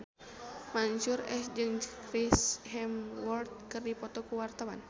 Mansyur S jeung Chris Hemsworth keur dipoto ku wartawan